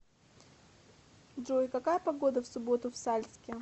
джой какая погода в субботу в сальске